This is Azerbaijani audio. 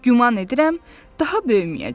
Güman edirəm, daha böyüməyəcəm.